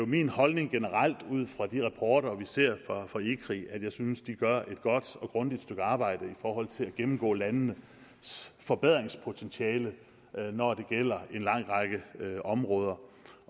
min holdning generelt ud fra de rapporter vi ser fra ecri at jeg synes de gør et godt og grundigt stykke arbejde i forhold til at gennemgå landenes forbedringspotentiale når det gælder en lang række områder